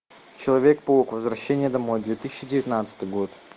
человек паук возвращение домой две тысячи девятнадцатый год